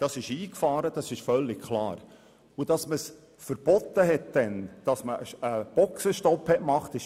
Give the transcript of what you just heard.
Dieser Vorfall hat beeindruckt, und es ist völlig klar, dass man damals ein Verbot beziehungsweise einen Boxenstopp gemacht hat.